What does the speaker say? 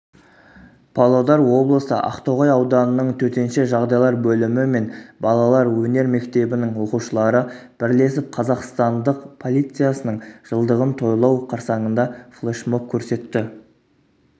павлодар облысы ақтоғай ауданының төтенше жағдайлар бөлімі мен балалар өнер мектебінің оқушылары бірлесіп қазақстандық полициясының жылдығын тойлау қарсаңында флешмоб көрсетті